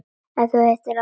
Hvað heitir þú aftur?